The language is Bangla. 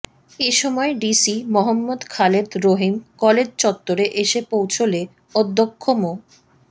এ সময় ডিসি মোহাম্মদ খালেদ রহীম কলেজ চত্বরে এসে পৌঁছলে অধ্যক্ষ মো